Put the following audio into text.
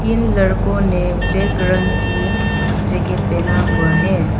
तीन लड़कों ने ब्लैक रंग की जैकेट पहना हुआ है।